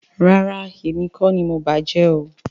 Rárá, èmi kọ́ ni mo bàá jẹ́ o